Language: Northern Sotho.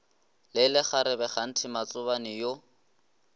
le lekgarebe kganthe matsobane yo